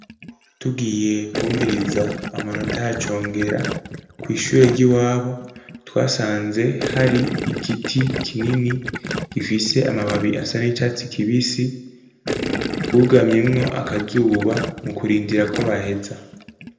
Tugiye kwumviriza amanota ya Congera kw'ishure ry'iwabo, twasanze hari igiti kinini gifise amababi asa n'icatsi kibisi twugamyemwo akazuba mu kurindira ko baheza.